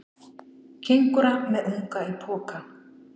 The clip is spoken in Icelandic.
Kengúra með unga í poka.